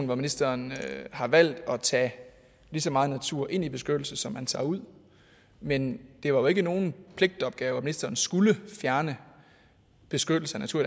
hvor ministeren har valgt at tage lige så meget natur ind i beskyttelsen som man tager ud men det var jo ikke nogen pligtopgave at ministeren skulle fjerne beskyttelse af natur